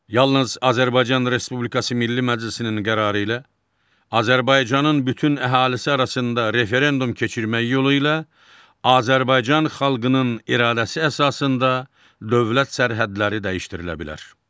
Yalnız Azərbaycan Respublikası Milli Məclisinin qərarı ilə Azərbaycanın bütün əhalisi arasında referendum keçirmək yolu ilə Azərbaycan xalqının iradəsi əsasında dövlət sərhədləri dəyişdirilə bilər.